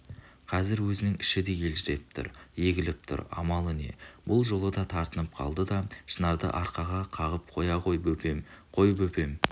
қазір өзінің іші де елжіреп тұр егіліп тұр амалы не бұл жолы да тартынып қалды да шынарды арқаға қағыпқоя ғой бөпем қой бөпем